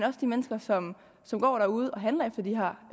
og de mennesker som som går derude og handler efter de her